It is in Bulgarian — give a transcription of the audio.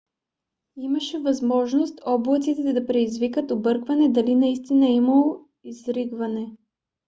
имаше възможност облаците да предизвикат объркване дали наистина е имало изригване